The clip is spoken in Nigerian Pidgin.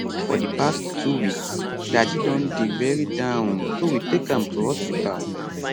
for di past two weeks daddy don dey very down so we take am to hospital